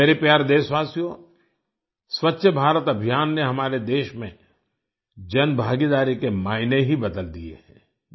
मेरे प्यारे देशवासियो स्वच्छ भारत अभियान में हमारे देश में जन भागीदारी के मायने ही बदल दिए हैं